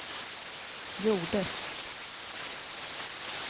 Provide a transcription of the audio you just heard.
gjordes